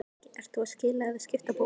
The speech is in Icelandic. Breki: Ert þú að skila eða skipta bók?